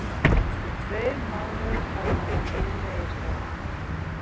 Síðustu tveir mánuðir hafa verið lélegir hjá okkur.